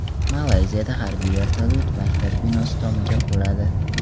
Malayziyada harbiy vertolyot maktab binosi tomiga quladi.